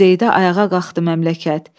Quzeydə ayağa qalxdı məmləkət.